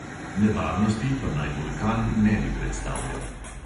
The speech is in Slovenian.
Nevarnosti pa naj vulkan ne bi predstavljal.